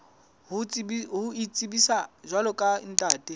ho itsebisa jwalo ka ntate